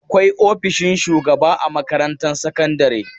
Akwai ofishin shugaba a makarantar sakandare.